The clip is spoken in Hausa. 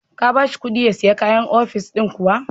Ka ba shi kuɗin ya sai kaya ofis din kuwa?